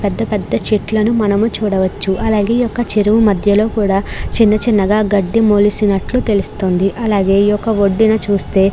ఇక్కడ పెద్ద పెద్ద చెట్లని మనం చూడవచ్చు అలాగే ఈ చెరువు మధ్యలో లో కూడా చిన్న చిన్న గ గడ్డి మొలిచినటు తెలుస్తుంది అలాగే ఏ వొడు ను చూస్తే --